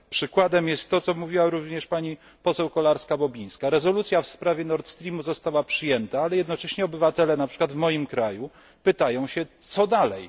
Przykładem jest to, co mówiła również pani poseł Kolarska Bobińska rezolucja w sprawie Nordstreamu została przyjęta, ale jednocześnie obywatele, na przykład w moim kraju, pytają się, co dalej.